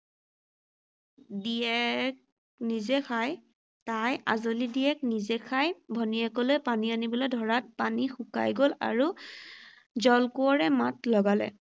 দিয়েক, নিজে খাই তাই আঁজলী দিয়েক নিজে খাই ভনীয়েকলৈ পানী আনিবলৈ ধৰাত পানী শুকাই গ’ল আৰু, জলকোঁৱৰে মাত লগালে